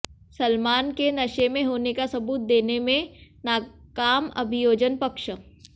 सलमान के नशे में होने का सबूत देने में नाकाम अभियोजन पक्ष